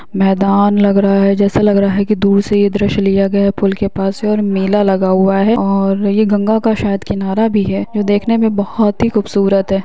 मैदान लग रहा है जैसा लग रहा है के दूर से ये दृश्य लिया गया पुल के पास से और मेला लगा हुआ है और ये गंगा का शायद किनारा भी है जो देखने में बहुत ही खूबसूरत है।